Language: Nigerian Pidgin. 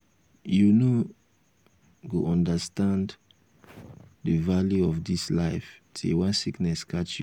you no go understand the value of dis life till one sickness catch you